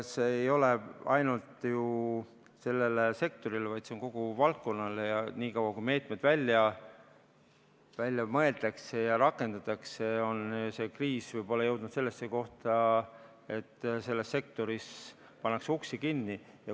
See ei ole ainult ju sellele sektorile, vaid see on kogu valdkonnale ja niikaua, kui meetmeid välja mõeldakse ja rakendatakse, on see kriis võib-olla jõudnud sellisesse kohta, et selles sektoris pannakse uksi kinni.